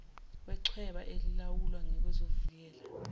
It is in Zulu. wechweba elilawulwa ngezokuvikela